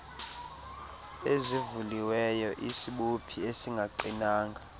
ezivuliweyo isibophi esingaqinanga